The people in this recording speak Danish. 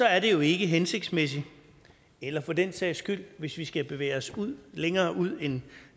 er det jo ikke hensigtsmæssigt eller for den sags skyld hvis vi skal bevæge os længere ud end